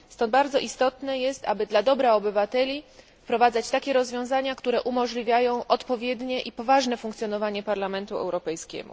Stąd bardzo istotne jest, aby dla dobra obywateli wprowadzać takie rozwiązania, które umożliwiają odpowiednie i poważne funkcjonowanie Parlamentu Europejskiego.